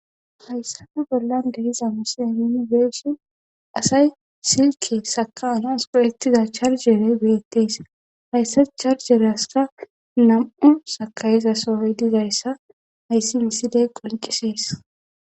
Hayssafe bollan deiza muse minibeeshin asay silke saka anons poyektiza charjeere beyettes hayssa charjeryaska nam7u sakayiza soroy dizayssa hayssi nisidey qoncisees.